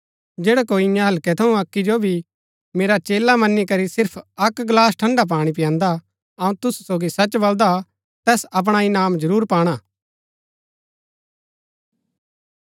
जैडा कोई ईयां हल्कै थऊँ अक्की जो भी मेरा चेला मनी करी सिर्फ अक्क गलास ठंड़ा पाणी पयांदा अऊँ तुसु सोगी सच बलदा तैस अपणा इनाम जरूर पाणा